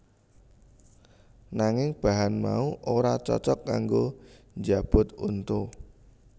Nanging bahan mau ora cocok kanggo njabut untu